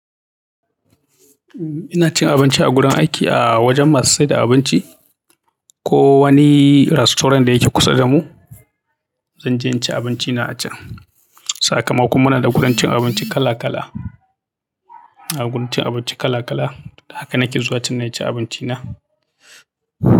Inachin abinci agurin aiki a wajen masu saida abinci koh wani restaurant da yake kusa da mu zanje inci abinchina a chan Saƙamako muna da gurin cin abinci kala kala, a gurin cin abinci kala kala, haka nake zuwa cin na ci abinci na.